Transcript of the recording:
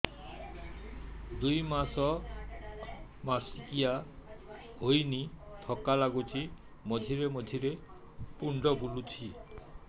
ଦୁଇ ମାସ ମାସିକିଆ ହେଇନି ଥକା ଲାଗୁଚି ମଝିରେ ମଝିରେ ମୁଣ୍ଡ ବୁଲୁଛି